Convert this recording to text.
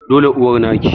dole uwar naki